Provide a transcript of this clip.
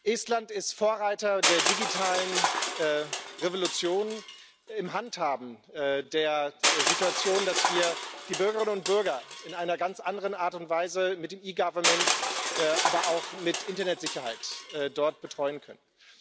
Estland ist Vorreiter der digitalen Revolution, im Handhaben der Situation, dass wir die Bürgerinnen und Bürger in einer ganz anderen Art und Weise mit dem E Government, aber auch mit Internetsicherheit betreuen können.